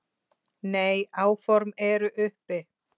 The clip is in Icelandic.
Nei, áform eru uppi